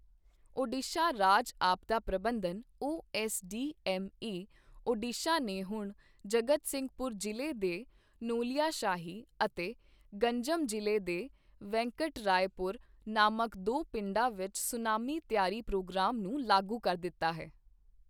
ਓਡੀਸ਼ਾ ਰਾਜ ਆਪਦਾ ਪ੍ਰਬੰਧਨ ਓਐੱਸਡੀਐੱਮਏ, ਓਡੀਸ਼ਾ ਨੇ ਹੁਣ ਜਗਤਸਿੰਘਪੁਰ ਜ਼ਿਲ੍ਹੇ ਦੇ ਨੋਲਿਯਾਸ਼ਾਹੀ ਅਤੇ ਗੰਜਮ ਜ਼ਿਲ੍ਹੇ ਦੇ ਵੈਂਕਟਰਾਏਪੁਰ ਨਾਮਕ ਦੋ ਪਿੰਡਾਂ ਵਿੱਚ ਸੁਨਾਮੀ ਤਿਆਰੀ ਪ੍ਰੋਗਰਾਮ ਨੂੰ ਲਾਗੂ ਕਰ ਦਿੱਤਾ ਹੈ।